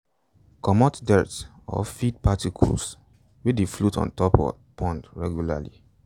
comot dirt or feed particles wey dey float on top pond regularly